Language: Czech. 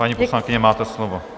Paní poslankyně, máte slovo.